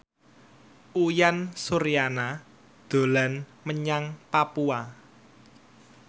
Uyan Suryana dolan menyang Papua